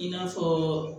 I n'a fɔ